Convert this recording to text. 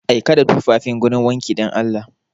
Aika da tufafin gurin wanki dan Allah!